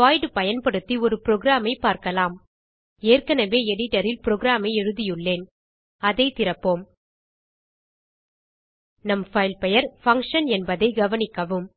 void பயன்படுத்தி ஒரு program ஐ பார்க்கலாம் ஏற்கனவே எடிட்டர் ல் புரோகிராம் ஐ எழுதியுள்ளேன் அதை திறப்போம் நம் பைல்நேம் பங்ஷன் என்பதை கவனிக்கவும்